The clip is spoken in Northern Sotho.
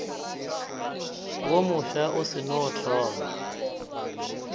wo mofsa o seno thoma